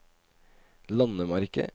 landemerke